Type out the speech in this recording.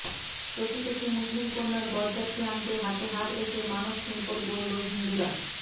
প্রতিবেশী মুসলিমকন্যার বরযাত্রী আনতে হাতে হাত রেখে মানবশৃঙ্খল গড়ল হিন্দুরা